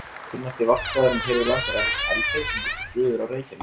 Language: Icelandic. Kunnasti varpstaðurinn hér við land er eflaust Eldey sem liggur suður af Reykjanesi.